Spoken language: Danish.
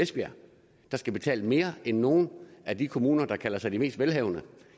der skal betale mere end nogen af de kommuner der kalder sig de mest velhavende